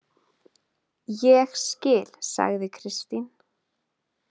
Ég skil, sagði Kristín.